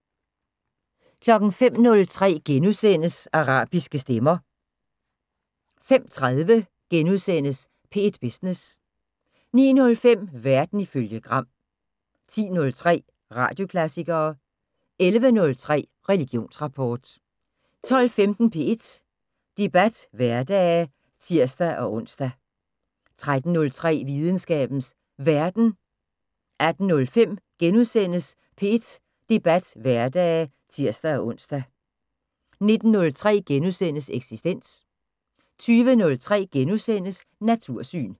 05:03: Arabiske stemmer * 05:30: P1 Business * 09:05: Verden ifølge Gram 10:03: Radioklassikere 11:03: Religionsrapport 12:15: P1 Debat hverdage (tir-ons) 13:03: Videnskabens Verden 18:05: P1 Debat hverdage *(tir-ons) 19:03: Eksistens * 20:03: Natursyn *